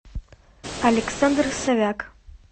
александр совяк